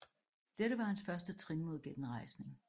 Dette var hans første trin mod genrejsning